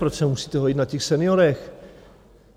Proč se musíte hojit na těch seniorech?